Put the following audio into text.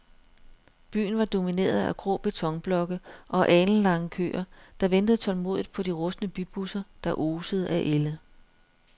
Byen var domineret af grå betonblokke og alenlange køer, der ventede tålmodigt på de rustne bybusser, der osede af ælde.